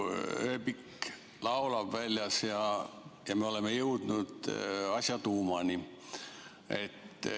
Ööbik laulab väljas ja me oleme jõudnud asja tuumani.